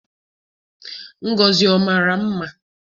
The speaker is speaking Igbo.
Ngozi ọ mara mma?